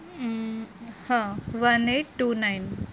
અમ હા one eight two nine